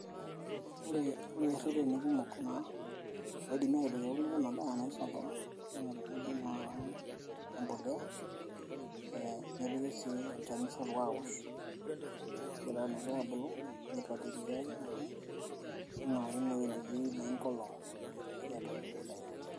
Ore ireteni kumok naa naidimi atipik ena daa naji sorghum naa teneibing impolea, nepiki sii olchani sapuk aosh, egira naa ke abulu neipatiliae neingura kini eweji netii enkolong pee tumoki atoyio pee eitayuni.